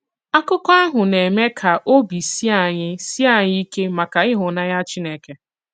Àkụ̀kọ àhụ na-eme ka òbì s̀ìè ànyị̀ s̀ìè ànyị̀ ìkè maka ịhụnànyà Chìnékè.